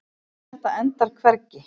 Það endar hvergi.